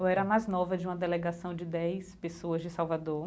Eu era a mais nova de uma delegação de dez pessoas de Salvador.